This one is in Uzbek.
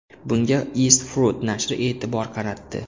Bunga East Fruit nashri e’tibor qaratdi .